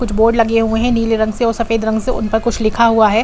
कुछ बोर्ड लगे हुए हैं। नीले रंग से और सफेद रंग से उन प कुछ लिखा हुआ है।